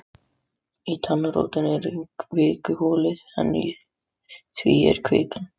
Í tannrótinni er kvikuholið en í því er kvikan.